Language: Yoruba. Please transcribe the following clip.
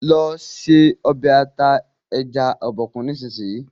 lọ se Ọbẹ̀ ata ẹja Obokun nísìsiyìí!